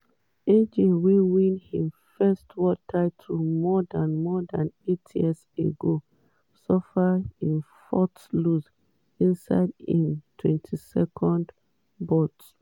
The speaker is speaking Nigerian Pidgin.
aj – wey win im first world title more dan more dan eight years ago – suffer im fourth loss inside im 32nd bout.